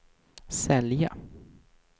sälja